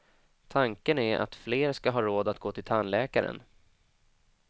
Tanken är att fler ska ha råd att gå till tandläkaren.